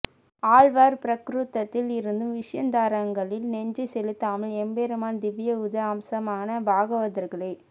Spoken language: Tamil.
ஆழ்வார் ப்ராக்ருதத்தில் இருந்தும் விஷயாந்தரங்களில் நெஞ்சை செலுத்தாமல் எம்பெருமான் திவ்யாயுத அம்சமான பாகவதர்களையே